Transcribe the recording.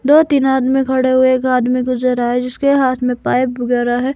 दो तीन आदमी खड़े हुए एक आदमी गुजर रहा है जिसके हाथ में पाइप वगैरा है।